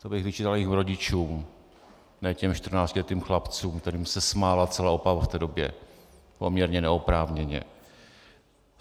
To bych vyčítal jejich rodičům, ne těm čtrnáctiletým chlapcům, kterým se smála celá Opava v té době, poměrně neoprávněně.